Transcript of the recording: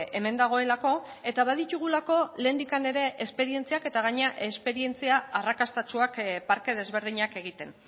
hemen dagoelako eta baditugulako lehendik ere esperientziak eta gainera esperientzia arrakastatsuak parke desberdinak egiten